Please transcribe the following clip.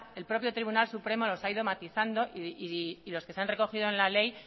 el propio tribunal supremo los ha ido matizando y los que se han recogido en la ley